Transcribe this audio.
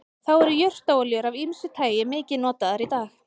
þá eru jurtaolíur af ýmsu tagi mikið notaðar í dag